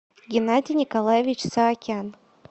геннадий николаевич саакян